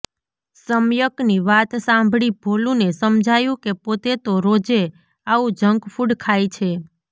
સમ્યકની વાત સાંભળી ભોલુને સમજાયું કે પોતે તો રોજે આવું જંક ફૂડ ખાય છે